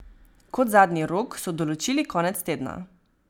Kot zadnji rok so določili konec tedna.